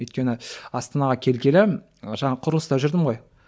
өйткені астанаға келгелі жаңағы құрылыста жүрдім ғой